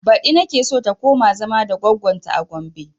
Baɗi nake so ta koma zama da goggon ta a gombe